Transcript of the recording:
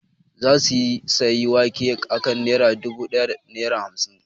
Za su sayi wake a kan naira dubu da naira hamsin